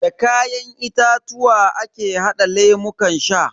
Da kayan itatuwa ake hada lemukan sha.